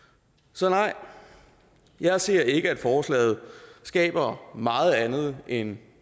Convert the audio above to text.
så nej jeg ser ikke at forslaget skaber meget andet end